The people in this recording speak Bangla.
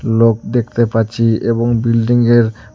লোক দেকতে পাচ্চি এবং বিল্ডিঙের -এর--